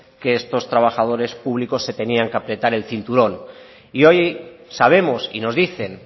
que estos trabajadores públicos se tenían que apretar el cinturón y hoy sabemos y nos dicen